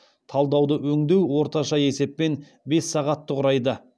талдауды өңдеу орташа есеппен бес сағатты құрайды